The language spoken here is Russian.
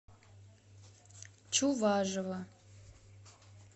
чуважова